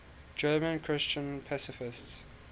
german christian pacifists